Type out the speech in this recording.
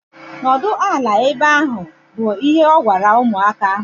Nọdụ ala ehe ahu! Bụ ihe o gwara ụmụaka ahu!